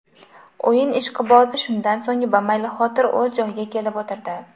O‘yin ishqibozi shundan so‘ng bamaylixotir o‘z joyiga kelib o‘tirdi.